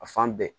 A fan bɛɛ